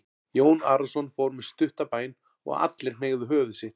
Jón Arason fór með stutta bæn og allir hneigðu höfuð sitt.